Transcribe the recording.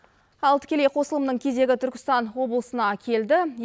ал тікелей қосылымның кезегі түркістан облысына келді